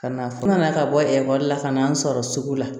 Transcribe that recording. Ka na fo ka na ka bɔ ekɔli la ka n'an sɔrɔ sugu la